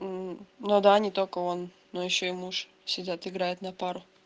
м ну да они только он но ещё и муж сидят играют на пару